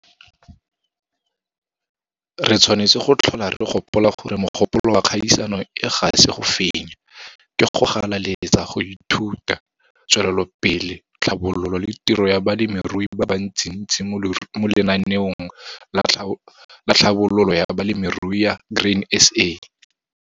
Re tshwanetse go tlhola re gopola gore mogopolo wa kgaisano e ga se go fenya, ke go galaletsa go ithuta, tswelelopele, tlhabololo le tiro ya balemirui ba bantsintsi mo Lenaneo la Tlhabololo ya Balemirui ya Grain SA.